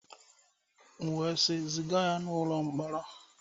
M wee sị, ziga ya n'ụlọ mkpọrọ!